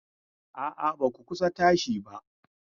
A'a, ba ku kusa tashi ba.